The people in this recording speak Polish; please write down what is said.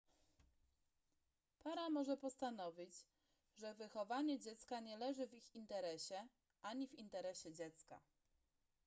para może postanowić że wychowanie dziecka nie leży w ich interesie ani w interesie dziecka